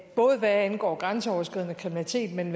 både hvad angår grænseoverskridende kriminalitet men